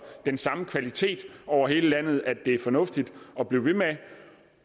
den samme kvalitet over hele landet at det er fornuftigt at blive ved med at